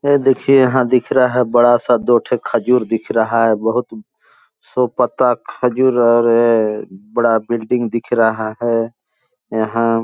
ये देखिये यहाँ दिख रहा है बड़ा-सा दो ठो खजूर दिख रहा है बहुत सो पत्ता खजूर और बड़ा बिल्डिंग दिख रहा है यहाँ --